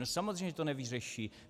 No samozřejmě že to nevyřeší.